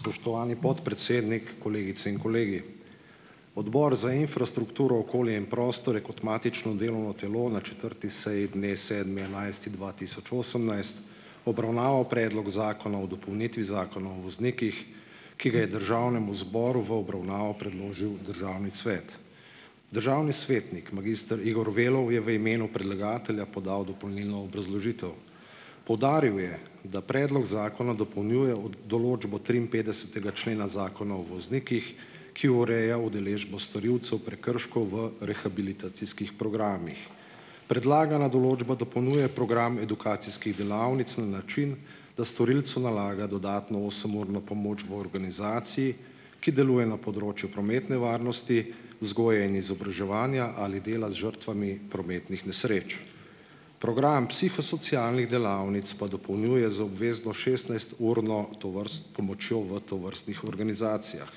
Spoštovani podpredsednik, kolegice in kolegi! Odbor za infrastrukturo, okolje in prostor je kot matično delovno telo na četrti seji dne sedmi enajsti dva tisoč osemnajst, obravnaval Predlog zakona o dopolnitvi Zakona o voznikih, ki ga je Državnemu zboru v obravnavo predložil Državni svet. Državni svetnik magister Igor Velov je v imenu predlagatelja podal dopolnilno obrazložitev. Poudaril je, da predlog zakona dopolnjuje določbo triinpetdesetega člena Zakona o voznikih, ki ureja udeležbo storilcev prekrškov v rehabilitacijskih programih. Predlagana določba dopolnjuje program edukacijskih delavnic na način, da storilcu nalaga dodatno osemurno pomoč v organizaciji, ki deluje na področju prometne varnosti, vzgoje in izobraževanja ali dela z žrtvami prometnih nesreč. Program psihosocialnih delavnic pa dopolnjuje z obvezno šestnajsturno pomočjo v tovrstnih organizacijah.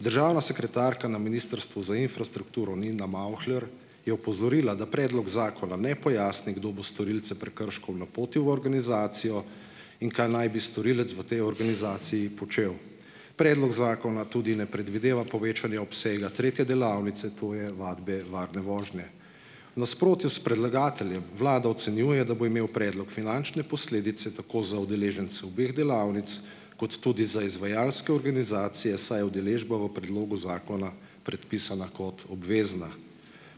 Državna sekretarka na Ministrstvu za infrastrukturo Nina Mavhler je opozorila, da predlog zakona ne pojasni, kdo bo storilce prekrškov napotil v organizacijo in kaj naj bi storilec v tej organizaciji počel. Predlog zakona tudi ne predvideva povečanja obsega tretje delavnice, to je vadbe varne vožnje. V nasprotju s predlagateljem Vlada ocenjuje, da bo imel predlog finančne posledice tako za udeležence obeh delavnic kot tudi za izvajalske organizacije, saj je udeležba v predlogu zakona predpisana kot obvezna.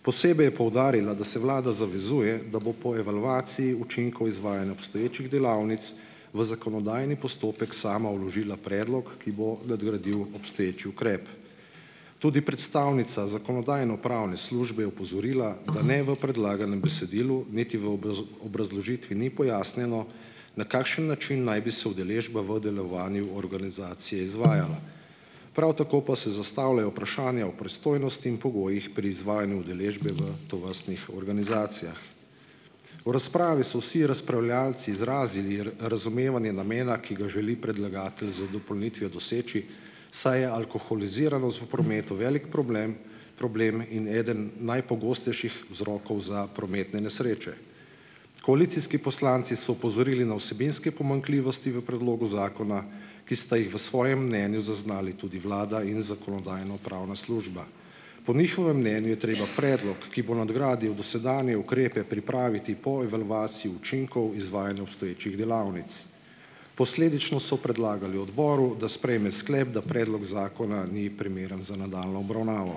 Posebej je poudarila, da se Vlada zavezuje, da bo po evalvaciji učinkov izvajanja obstoječih delavnic v zakonodajni postopek sama vložila predlog, ki bo nadgradil obstoječi ukrep. Tudi predstavnica Zakonodajno-pravne službe je opozorila, da ne v predlaganem besedilu niti v obrazložitvi ni pojasnjeno, na kakšen način naj bi se udeležba v delovanju organizacije izvajala. Prav tako pa se zastavljajo vprašanja o pristojnosti in pogojih pri izvajanju udeležbe v tovrstnih organizacijah. V razpravi so vsi razpravljalci izrazili razumevanje namena, ki ga želi predlagatelj z dopolnitvijo doseči, saj je alkoholiziranost v prometu velik problem problem in eden najpogostejših vzrokov za prometne nesreče. Koalicijski poslanci so opozorili na vsebinske pomanjkljivosti v predlogu zakona, ki sta jih v svojem mnenju zaznali tudi vlada in Zakonodajno-pravna služba. Po njihovem mnenju je treba predlog, ki bo nadgradil dosedanje ukrepe, pripraviti po evalvaciji učinkov izvajanja obstoječih delavnic. Posledično so predlagali odboru, da sprejme sklep, da predlog zakona ni primeren za nadaljnjo obravnavo.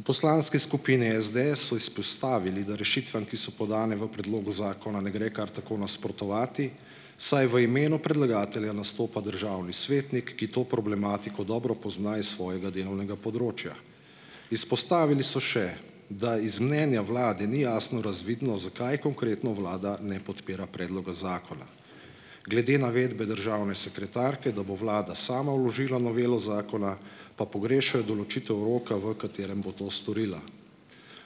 V Poslanski skupini SDS so izpostavili, da rešitvam, ki so podane v predlogu zakona, ne gre kar tako nasprotovati, saj v imenu predlagatelja nastopa državni svetnik, ki to problematiko dobro pozna iz svojega delovnega področja. Izpostavili so še, da iz mnenja vlade ni jasno razvidno, zakaj konkretno vlada ne podpira predloga zakona. Glede navedbe državne sekretarke, da bo vlada sama vložila novelo zakona, pa pogrešajo določitev roka, v katerem bo to storila.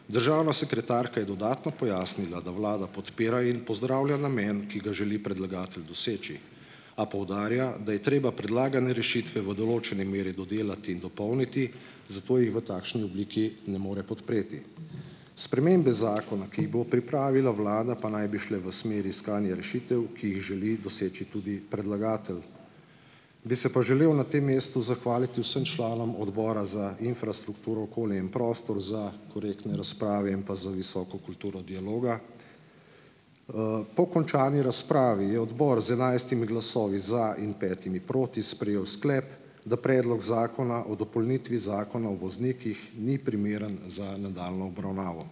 Državna sekretarka je dodatno pojasnila, da vlada podpira in pozdravlja namen, ki ga želi predlagatelj doseči, a poudarja, da je treba predlagane rešitve v določeni meri dodelati in dopolniti, zato jih v takšni obliki ne more podpreti. Spremembe zakona, ki jih bo pripravila vlada, pa naj bi šle v smeri iskanja rešitev, ki jih želi doseči tudi predlagatelj. Bi se pa želel na tem mestu zahvaliti vsem članom Odbora za infrastrukturo, okolje in prostor za korektne razprave in pa za visoko kulturo dialoga. Po končani razpravi je odbora z enajstimi glasovi za in petimi proti, sprejel sklep, da predlog Zakona o dopolnitvi Zakona o voznikih ni primeren za nadaljnjo obravnavo.